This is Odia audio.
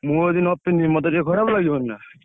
ମୁଁ ଯଦି ନ ପିନ୍ଧିବି ମତେ ଟିକେ ଖରାପ ଲାଗିବନି ନା ।